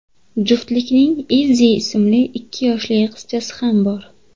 Juftlikning Izzi ismli ikki yoshli qizchasi ham bor.